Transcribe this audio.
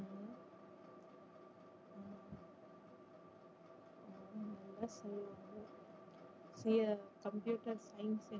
near computer science